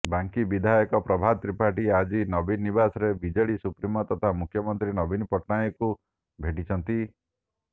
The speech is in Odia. ବାଙ୍କୀ ବିଧାୟକ ପ୍ରଭାତ ତ୍ରିପାଠୀ ଆଜି ନବୀନ ନିବାସରେ ବିଜେଡି ସୁପ୍ରିମୋ ତଥା ମୁଖ୍ୟମନ୍ତ୍ରୀ ନବୀନ ପଟ୍ଟନାୟକଙ୍କୁ ଭେଟିଛନ୍ତି